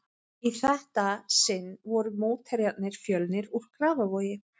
Í þetta sinn voru mótherjarnir Fjölnir úr Grafarvogi.